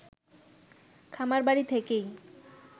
খামারবাড়ি থেকেই